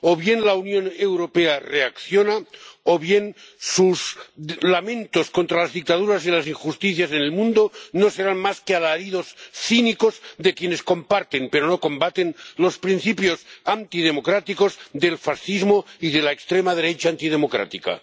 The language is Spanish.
O bien la Unión Europea reacciona, o bien sus lamentos contra las dictaduras y las injusticias en el mundo no serán más que alaridos cínicos de quienes comparten, pero no combaten, los principios antidemocráticos del fascismo y de la extrema derecha antidemocrática.